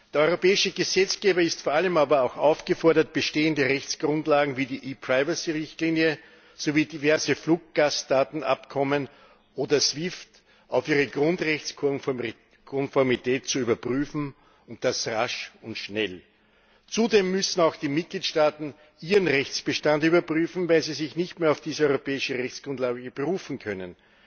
Der europäische Gesetzgeber ist aber vor allem auch aufgefordert, bestehende Rechtsgrundlagen wie die ePrivacy Richtlinie sowie diverse Fluggastdatenabkommen oder SWIFT auf ihre Grundrechtskonformität zu überprüfen, und das rasch und schnell. Zudem müssen auch die Mitgliedstaaten ihren Rechtsbestand überprüfen, weil sie sich nicht mehr auf diese europäische Rechtsgrundlage berufen können.